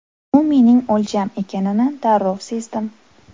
U mening o‘ljam ekanini darrov sezdim.